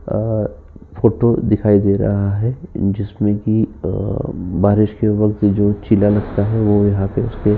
अ photo दिखाई दे रहा है। जिसमे की अ बारिश के वक्त जो चीला लगता है। वो यहाँ पे उसके --